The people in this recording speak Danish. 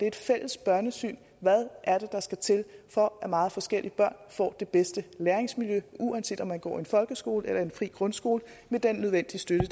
et fælles børnesyn hvad er det der skal til for at meget forskellige børn får det bedste læringsmiljø uanset om man går i en folkeskole eller en fri grundskole med den nødvendige støtte